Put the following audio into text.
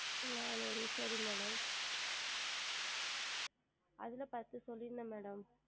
நானுரு சரி Madam அதில் பத்து சொல்லி இருந்தேன் Madam